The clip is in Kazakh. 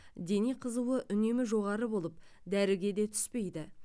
дене қызуы үнемі жоғары болып дәріге де түспейді